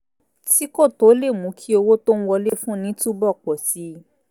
tí kò tó lè mú kí owó tó ń wọlé fúnni túbọ̀ pọ̀ sí i